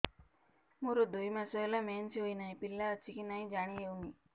ମୋର ଦୁଇ ମାସ ହେଲା ମେନ୍ସେସ ହୋଇ ନାହିଁ ପିଲା ଅଛି କି ନାହିଁ ଜାଣି ହେଉନି